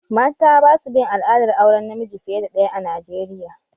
Mata basu bin al'adar auren namiji fiye da daya a Najeriya